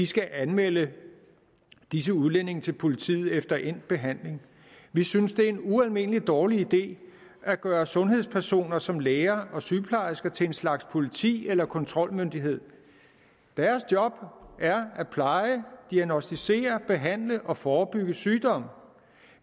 skal anmelde disse udlændinge til politiet efter endt behandling vi synes det er en ualmindelig dårlig idé at gøre sundhedspersoner som læger og sygeplejersker til en slags politi eller kontrolmyndighed deres job er at pleje diagnosticere behandle og forebygge sygdom